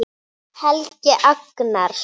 Helgi Agnars.